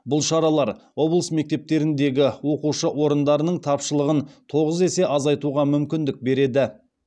бұл шаралар облыс мектептеріндегі оқушы орындарының тапшылығын тоғыз есе азайтуға мүмкіндік береді